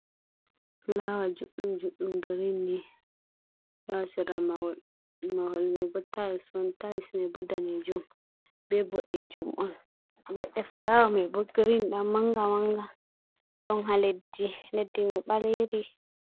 Fulaawa juɗɗum-juɗɗum girin ni ɗo haa sera mahol. Mahol mai bo tayls on, tayls man bo daneejum, be boɗeejum on. Leɗɗe fulawa me bo girin ɗan manga-manga, ɗon haa leddi, leddi mai ɓaleri.